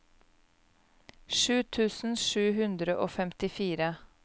sju tusen sju hundre og femtifire